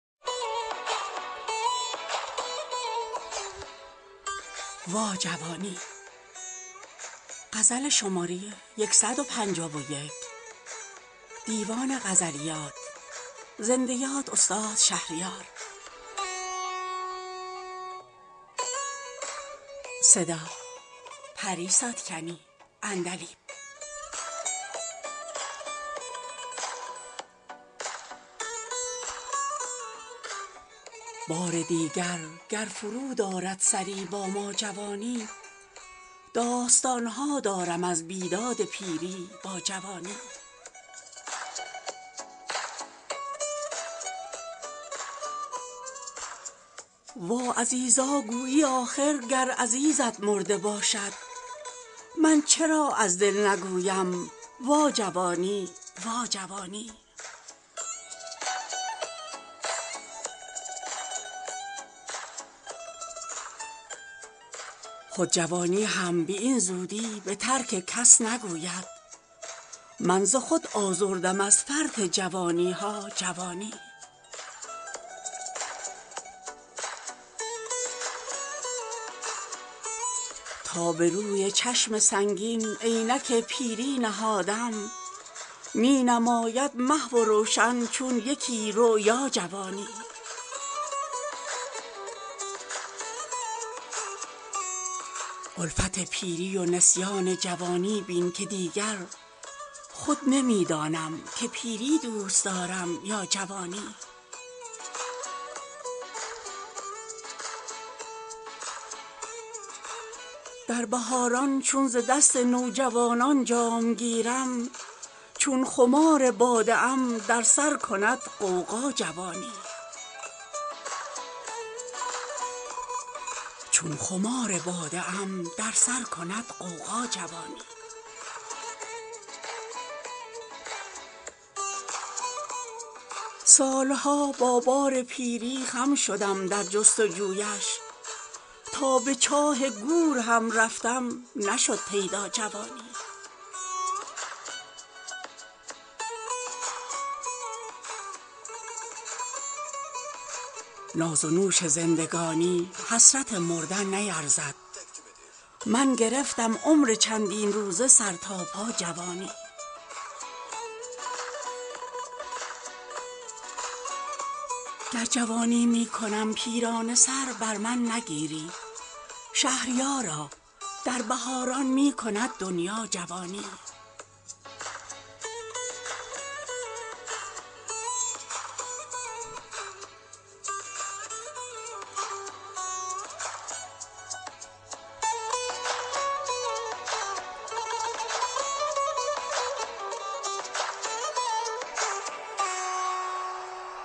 بار دیگر گر فرود آرد سری با ما جوانی داستانها دارم از بیداد پیری با جوانی وا عزیزا گویی آخر گر عزیزت مرده باشد من چرا از دل نگویم وا جوانی وا جوانی خود جوانی هم به این زودی به ترک کس نگوید من ز خود آزردم از فرط جوانی ها جوانی تا به روی چشم سنگین عینک پیری نهادم مینماید محو و روشن چون یکی رؤیا جوانی الفت پیری و نسیان جوانی بین که دیگر خود نمیدانم که پیری دوست دارم یا جوانی لیک اگر همراه یاران جوانم بازگشتی ای عزیزان دوست تر می داشتم گویا جوانی در بهاران چون ز دست نوجوانان جام گیرم چون خمار باده ام در سر کند غوغا جوانی بی وفایی رفیق و داغ یاران نیز دیدم کاشکی بود ای عزیزان حسرتم تنها جوانی باز نشناسد اگر با این قد چنگم ببیند دیده بود آخر مرا با آن قد رعنا جوانی سال ها با بار پیری خم شدم در جستجویش تا به چاه گور هم رفتم نشد پیدا جوانی ناز و نوش زندگانی حسرت مردن نیرزد من گرفتم عمر چندین روزه سر تا پا جوانی با وجود پیری از عمر ابد ذوقی نخیزد خضر با عمر ابد خود می کند سودا جوانی کاش برگشتی بدان ایام جان پرور که ما را وارهاند از کف هجران جان فرسا جوانی گر جوانی میکنم پیرانه سر بر من نگیری شهریارا در بهاران می کند دنیا جوانی